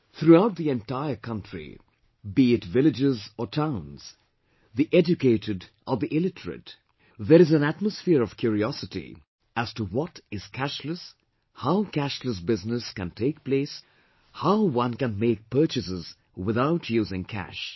Throughout the entire country, be it villages or towns, the educated or the illiterate, there is an atmosphere of curiosity as to what is cashless, how cashless business can take place, how can one make purchases without using cash